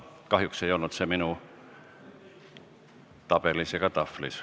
Kahjuks ei olnud seda soovi minu tabelis ega tahvlis.